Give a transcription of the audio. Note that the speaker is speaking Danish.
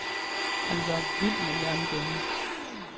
Han var vild med jernbaner.